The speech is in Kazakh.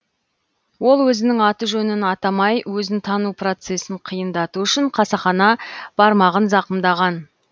ол өзінің аты жөнін атамай өзін тану процесін қиындату үшін қасақана бармағын зақымдаған